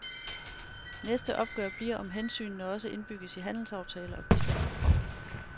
Næste opgør bliver, om hensynene også indbygges i handelsaftaler og bistandsprogrammer.